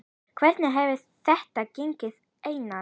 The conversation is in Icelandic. Hvernig hefur þetta gengið Einar?